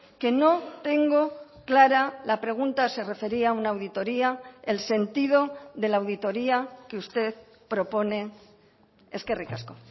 que no tengo clara la pregunta se refería a una auditoría el sentido de la auditoría que usted propone eskerrik asko